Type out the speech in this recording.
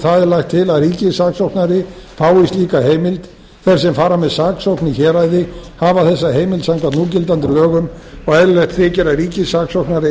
það er lagt til að ríkissaksóknari fái slíka heimild en þeir sem fara með saksókn í héraði hafa þessa heimild samkvæmt núgildandi lögum og eðlilegt þykir að ríkissaksóknari